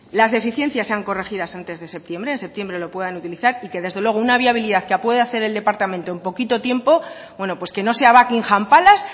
las deficiencias sean corregidas antes de septiembre en septiembre lo puedan utilizar y que desde luego una viabilidad que pueda hacer el departamento en poquito tiempo bueno pues que no sea buckingham palace